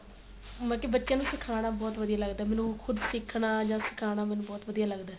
ਬਾਕੀ ਬੱਚਿਆ ਨੂੰ ਸਿਖਾਣਾ ਬਹੁਤ ਵਧੀਆ ਲੱਗਦਾ ਮੈਨੂੰ ਖੁਦ ਸਿਖਣਾ ਜਾਂ ਸਿਖਾਣਾ ਮੈਨੂੰ ਬਹੁਤ ਵਧੀਆ ਲੱਗਦਾ